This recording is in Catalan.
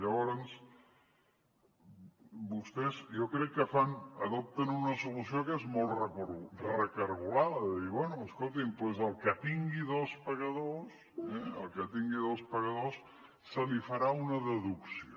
llavors vostès jo crec que adopten una solució que és molt recargolada de dir bé escoltin el que tingui dos pagadors el que tingui dos pagadors se li farà una deducció